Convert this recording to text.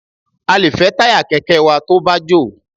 A lè fẹ́ táyà kẹ̀kẹ́ wa tó bá jò.